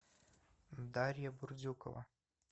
дарья бурдюкова